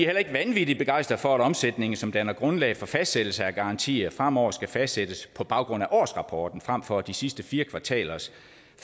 heller ikke vanvittig begejstret for at omsætningen som danner grundlaget for fastsættelse af garantier fremover skal fastsættes på baggrund af årsrapporten frem for de sidste fire kvartalers